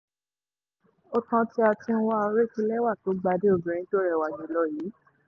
ó tán ń wá òrékelẹ́wà tó gbàdé obìnrin tó rẹwà jù lọ yìí